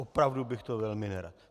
Opravdu bych to velmi nerad.